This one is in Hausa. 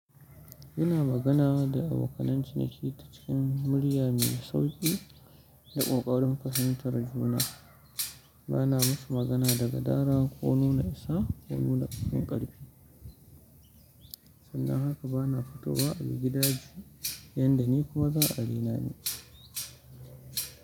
Ina magana da abokanan cinaki ta cikin murya mai sauƙi da ƙoƙarin fahintar juna. Bana musu magana da gadara ko nuna isa ko nuna fin ƙarfi. Sannan haka bana fito wa a bagidaje yanda ni kuma za a raina ni.